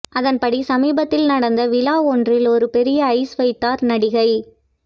அதன்படி சமீபத்தில் நடந்த விழா ஒன்றில் ஒரு பெரிய ஐஸ் வைத்தார் நடிகை